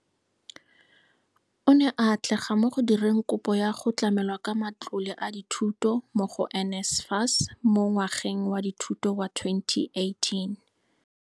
O ne a atlega mo go direng kopo ya go tlamelwa ka matlole a dithuto mo go NSFAS mo ngwageng wa dithuto wa 2018.